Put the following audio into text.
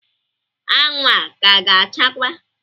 Anwụ a ka ga achakwa?